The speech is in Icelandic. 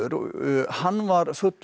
hann var fullur